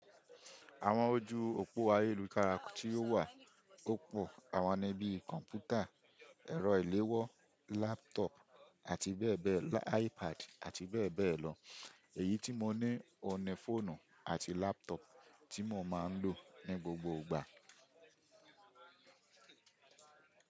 Àwọn ojú òpó ayélujára tí ó wà ó pò àwọn ni bí, kọ̀m̀pútà, ẹ̀rọ ìléwọ́, laptop àti bẹ́ẹ̀ bẹ́ẹ̀, iPad àti bẹ́ẹ̀ bẹ́ẹ̀ lọ. Èyí tí mo ní òun ni fóònù àti laptop tí mo máa ń lò ní gbogbo ìgbà.